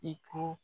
I ko